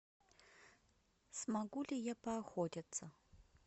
смогу ли я поохотиться